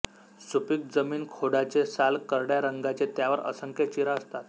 सुपीक जमीन खोडाचे साल करड्या रंगाचे त्यावर असंख्य चीरा असतात